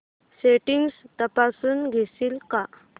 settings तपासून घेशील का